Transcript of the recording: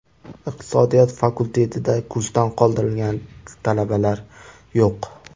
Iqtisodiyot fakultetida kursdan qoldirilgan talabalar yo‘q.